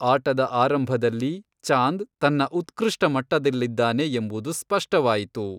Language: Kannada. ಆಟದ ಆರಂಭದಲ್ಲಿ, ಚಾಂದ್ ತನ್ನ ಉತ್ಕೃಷ್ಟ ಮಟ್ಟದಲ್ಲಿದ್ದಾನೆ ಎಂಬುದು ಸ್ಪಷ್ಟವಾಯಿತು.